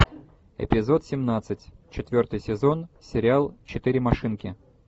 эпизод семнадцать четвертый сезон сериал четыре машинки